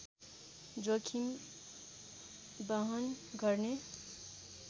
जोखिम बहन गर्ने